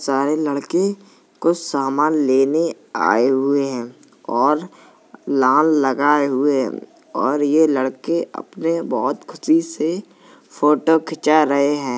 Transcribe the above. सारे लड़के कुछ सामान लेने आए हुए हैं और लान लगाए हुए हैं और ये लड़के अपने बहोत खुशी से फ़ोटो खिचा रहे हैं।